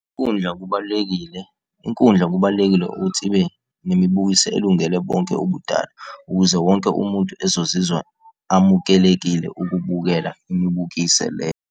Inkundla kubalulekile, inkundla kubalulekile ukuthi ibe nemibukiso elungele bonke ubudala ukuze wonke umuntu ezozizwa amukelekile ukubukela imibukiso le.